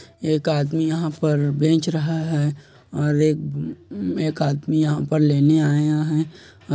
एक आदमी यहाँ पर बेच रहा है और एक अम-- एक आदमी यहाँ पर लेने आया है।